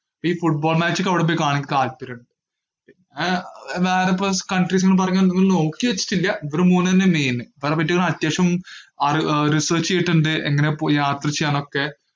ഈ football match ഒക്കെ അവിടെപ്പോയി കാണാൻ താല്പര്യമുണ്ട് ഏർ വേറെ ഇപ്പൊ സ്~ countries ന്ന് പറഞ്ഞാ ഇതൊന്നും നോക്കിവെച്ചിട്ടില്ല, ഇവര് മൂന്നെന്നെയാ main ഇവരെപ്പറ്റി ഒന്ന് അത്യാവശ്യം ആള് ഏർ research ചെയ്തിട്ടിണ്ട് എങ്ങനെയാ പോയി യാത്ര ചെയ്യാന്നൊക്കെ